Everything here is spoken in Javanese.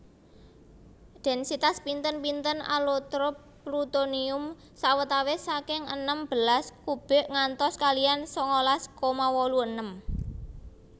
Densitas pinten pinten alotrop plutonium sawetawis saking enem belas kubik ngantos kaliyan sangalas koma wolu enem